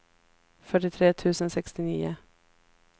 fyrtiotre tusen sextionio